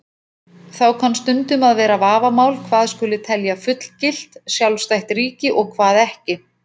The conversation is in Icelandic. Þá kann stundum að vera vafamál hvað skuli telja fullgilt, sjálfstætt ríki og hvað ekki.